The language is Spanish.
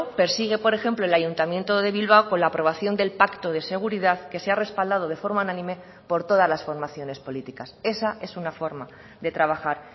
persigue por ejemplo el ayuntamiento de bilbao con la aprobación del pacto de seguridad que se ha respaldado de forma unánime por todas las formaciones políticas esa es una forma de trabajar